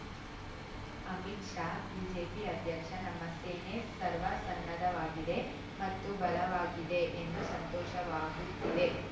Amit Shah BJP ಅಧ್ಯಕ್ಷ ನಮ್ಮ ಸೇನೆ ಸರ್ವಸನ್ನದ್ಧವಾಗಿದೆ ಮತ್ತು ಬಲವಾಗಿದೆ ಎಂದು ಸಂತೋಷವಾಗುತ್ತಿದೆ